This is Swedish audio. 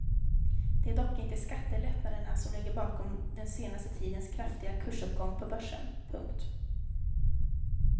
Det är dock inte skattelättnaderna som ligger bakom den senaste tidens kraftiga kursuppgång på börsen. punkt